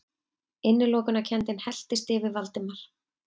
Innilokunarkenndin helltist yfir Valdimar.